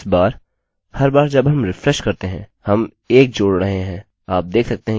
अब इस बार हर बार जब हम रिफ्रेशrefreshकरते हैं हम 1 जोड़ रहे हैं